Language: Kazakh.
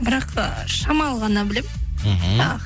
бірақ ы шамалы ғана білемін мхм тағы